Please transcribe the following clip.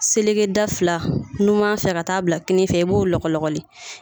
Seleke da fila numanfɛ ka taa bila kininfɛ i b'o lɔkɔlɔkɔli